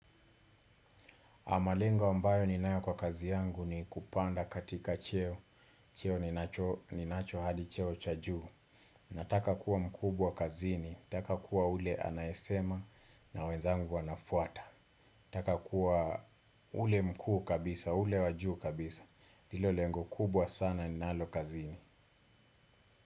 Malengo ambayo ninayo kwa kazi yangu ni kupanda katika cheo. Cheo ninacho hadi cheo cha juu nataka kuwa mkubwa kazini nataka kuwa ule anayesema na wenzangu wanafuata. Nataka kuwa ule mkuu kabisa, ule wajuu kabisa. Ndilo lengo kubwa sana ni nalo kazini.